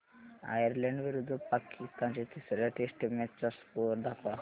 Ireland विरुद्ध पाकिस्तान च्या तिसर्या टेस्ट मॅच चा स्कोअर दाखवा